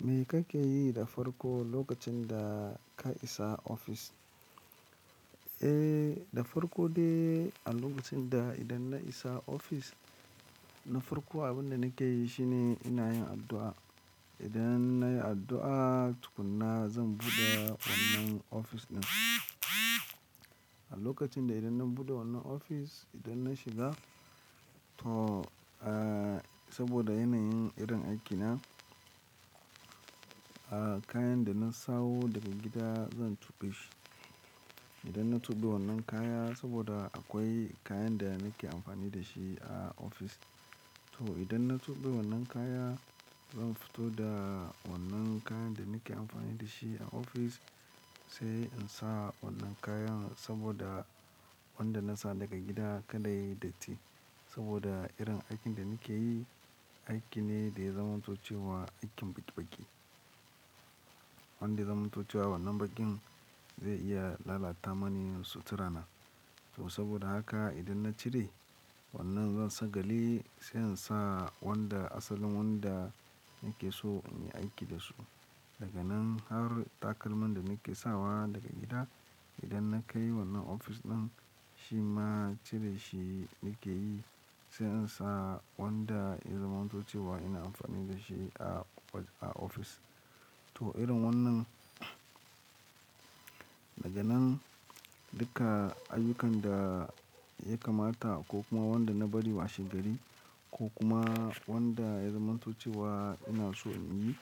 Me ka ke yi da farko lokacin da ka isa ofis? Eh, da farko dai a lokacin da idan na isa ofis, na farko abin da nake yi shine ina yin addu'a. Idan na yi addu'a tukunna zan buɗe wannan ofis ɗin. A lokacin da idan na buɗe wannan ofis, idan na shiga to, eh, saboda yana yin irin aiki na, eh, kayan da na sawo daga gida zan tuɓe shi. Idan na tuɓe wannan kaya saboda akwai kayan da nake amfani da shi a ofis. To idan na tuɓe wannan kaya, zan fito da wannan kayan da nake amfani da shi a ofis sai in sa wannan kayan saboda wanda na sa daga gida kada yayi datti. Saboda irin aikin da nake yi, aiki ne da ya zamanto cewa aikin baƙi baƙi. Wanda ya zamanto cewa wannan bakin zai iya lalata mani sutura na. To saboda haka idan na cire wannan zan sagale sai in sa wanda asalin wanda nake so in yi aiki da su. Daga nan har takalman da nake sawa daga gida, idan na kai wannan ofis ɗin, shi ma cire shi nake yi sai in sa wanda ya zamanto cewa ina amfani da shi a ofis. To irin wannan, daga nan duka ayyukan da ya kamata ko kuma wanda na bari washe gari ko kuma wanda ya zamantace wa ina so in yi.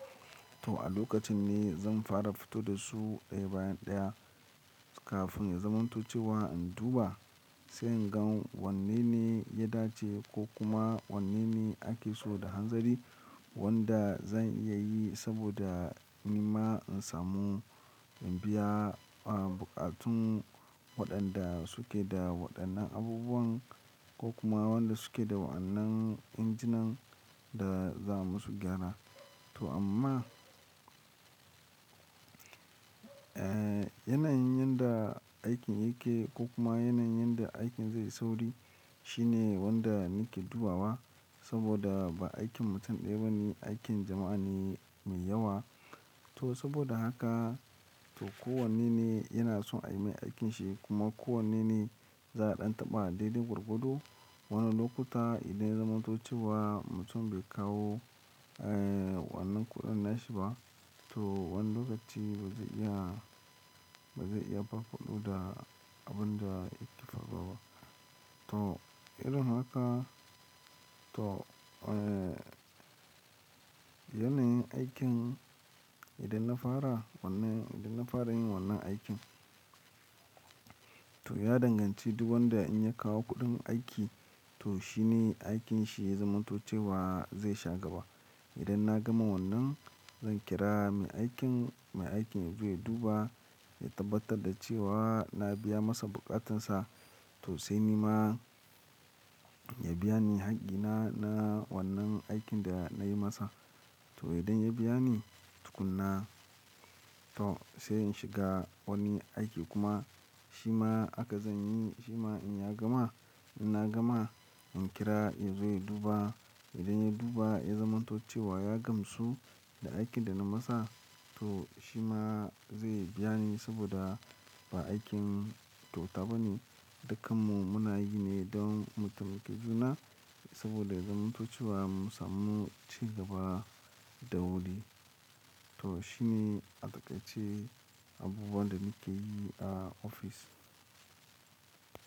To a lokacin ne zan fara fito da su ɗaya bayan ɗaya kafin ya zamanto cewa in duba sai in gan wanene ya dace ko kuma wanene ake so da hanzari wanda zan iya yi saboda ni ma in samu in biya, ah, buƙatun waɗanda suke da waɗannan abubuwan ko kuma wanda suke da wa'annan injinan da za'a musu gyara. To amma, eh, yanayin yanda aikin yake ko kuma yanayin yanda aikin zai sauri shine wanda nake dubawa saboda ba aikin mutum ɗaya ba ne, aikin jama'a ne mai yawa. To saboda haka to kowannene yana so a yi mai aikin shi kuma kowannene za a ɗan taɓa dai-dai gwargwado. Wani lokuta idan ya zamanto cewa mutum bai kawo, eh, wannan kuɗin nashi ba, to wani lokaci ba zai iya, ba zai iya ba kuɗu da abin da yake faruwa. To irin haka to, eh, yanayin aikin idan na fara wannan, idan na fara yin wannan aikin to ya danganci duk wanda in ya kawo kuɗin aiki to shi ne aikin shi ya zamanto cewa zai sha gaba. Idan na gama wannan zan kira mai aikin, mai aikin zai duba ya tabbatar da cewa na biya masa buƙatansa to sai ni ma ya biya ni haƙƙina na wannan aikin da nayi masa. To idan ya biya ni tukunna to sai in shiga wani aiki kuma shi ma haka zan yi, shi ma in ya gama, idan na gama in kira ya zo ya duba. Idan ya duba ya zamanto cewa ya gamsu da aikin da na masa to shi ma zai biya ni saboda ba aikin kyauta ba ne. Dukkanmu muna yi ne don mu taimaki juna saboda ya zamanto cewa mu samu cigaba da wuri. To shi ne a taƙaice abubuwan da nake yi a ofis.